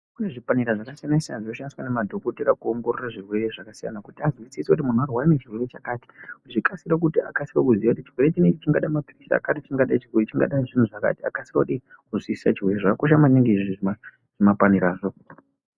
Kune zvipanera zvakasiyana siyana zvinoshandiswa nemadhokodheya kuongorora zvirwere zvakasiyana kuti avhunzise kuti muntu arwara nechirwere chakati akasike kuziya kuti chirwere chikadai icho chikadai kukasika kuziya zvakakosha maningi kuziya izvi zvimapanerazvo.